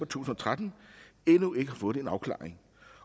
tusind og tretten endnu ikke har fået en afklaring